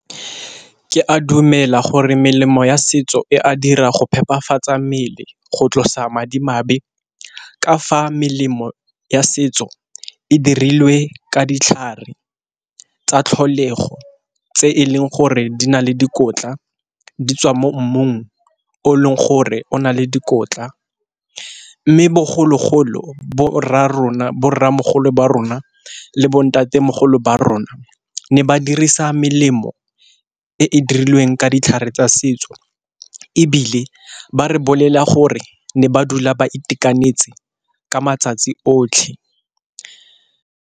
Ke a dumela gore melemo ya setso e a dira go phephafatsa mmele go tlosa madimabe, ka fa melemo ya setso e dirilwe ka ditlhare tsa tlholego tse e leng gore di na le dikotla di tswa mo mmung o e leng gore o na le dikotla. Mme bogologolo bo rra rona, bo rramogolo ba rona le bo ntatemogolo ba rona ne ba dirisa melemo e e dirilweng ka ditlhare tsa setso ebile ba re bolelela gore ne ba dula ba itekanetse ka matsatsi otlhe.